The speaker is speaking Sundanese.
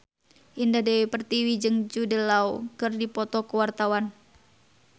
Indah Dewi Pertiwi jeung Jude Law keur dipoto ku wartawan